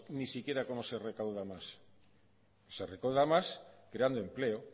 ni siquiera como se recauda más se recauda más creando empleo